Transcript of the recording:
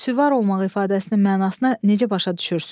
Süvar olmaq ifadəsinin mənasını necə başa düşürsünüz?